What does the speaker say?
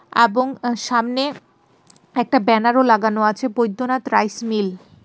আবং সামনে একটা ব্যানারও লাগানো আছে বৈদ্যনাথ রাইস মিল .